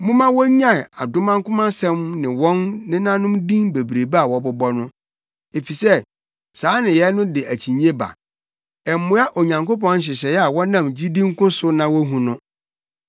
Momma wonnyae adomankomasɛm ne wɔn nenanom din bebrebe a wɔbobɔ no, efisɛ saa nneyɛe no de akyinnye ba. Ɛmmoa Onyankopɔn nhyehyɛe a wɔnam gyidi nko so na wuhu no.